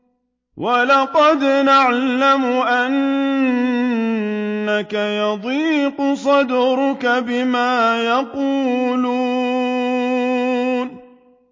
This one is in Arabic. وَلَقَدْ نَعْلَمُ أَنَّكَ يَضِيقُ صَدْرُكَ بِمَا يَقُولُونَ